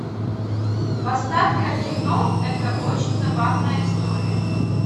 поставь ка кино это очень забавная история